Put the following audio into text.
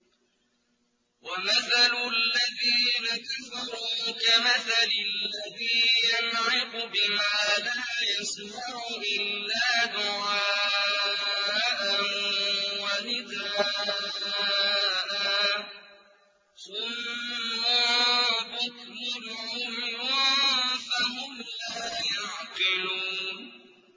وَمَثَلُ الَّذِينَ كَفَرُوا كَمَثَلِ الَّذِي يَنْعِقُ بِمَا لَا يَسْمَعُ إِلَّا دُعَاءً وَنِدَاءً ۚ صُمٌّ بُكْمٌ عُمْيٌ فَهُمْ لَا يَعْقِلُونَ